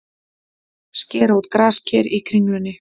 Skera út grasker í Kringlunni